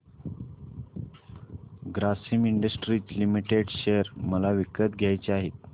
Grasim Industries Limited share मला विकत घ्यायचे आहेत